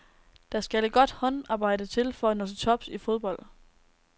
Der skal et godt håndarbejde til for at nå til tops i fodbold.